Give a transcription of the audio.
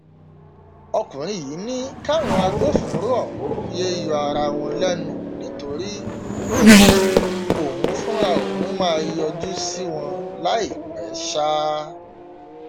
ọkùnrin yìí ní káwọn agbófinró ọhún yéé yọ ara wọn lẹnu nítorí um òun fúnra òun máa yọjú sí wọn láìpẹ um